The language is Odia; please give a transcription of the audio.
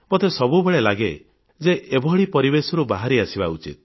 ମୋତେ ସବୁବେଳେ ଲାଗେ ଯେ ଏଭଳି ପରିବେଶରୁ ବାହାରି ଆସିବା ଉଚିତ